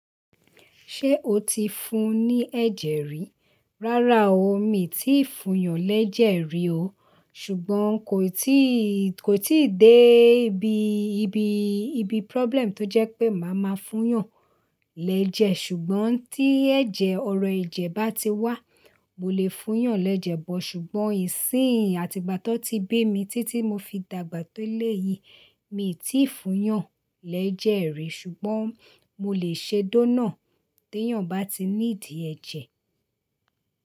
Ṣé o ti fún un ní ẹ̀jẹ̀ rí? Rárá o, mi ò tíì fún yàn lẹ́jẹ̀ rí o. Ṣùgbọ́n kò tíì, kò tíì dé ibi, ibi, ibi problem tó jẹ́ pé màá máa fún yàn lẹ́jẹ̀. Ṣùgbọ́n tí ẹ̀jẹ̀ ọrọ̀ ẹ̀jẹ̀ bá ti wá, mo lè fún yàn lẹ́jẹ̀ bọ̀. Ṣùgbọ́n ìsín àti gbàtọ́ tí bí emi títí mo fi dàgbà tó lé yìí, mi ò tíì fún yàn lẹ́jẹ̀ rí. Ṣùgbọ́n mo lè ṣe dónọ̀ té yàn bá ti níìdi ẹ̀jẹ̀.